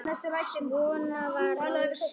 Svona var Rósa.